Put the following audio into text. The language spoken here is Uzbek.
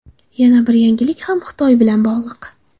Yana bir yangilik ham Xitoy bilan bog‘liq.